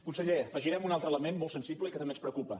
conseller afegirem un altre element molt sensible i que també ens preocupa